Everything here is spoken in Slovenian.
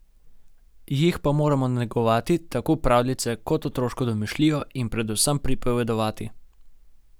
Jih pa moramo negovati, tako pravljice kot otroško domišljijo, in predvsem pripovedovati.